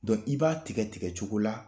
Dɔ i b'a tigɛ tigɛ cogo la